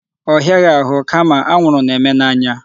Ọ hịaghị ahụ kama anwụrụ na-eme n'anya.